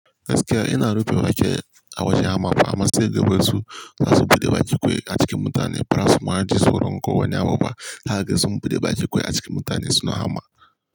Gaskiya ina rufe baki a wajan hamma fa amma sai dai kaga wasu za su buɗe baki kwai a cikin mutane baza su ma ji tsoron ko wani abu ba. Haka ga sun buɗe baki kwai a cikin mutane suna hama.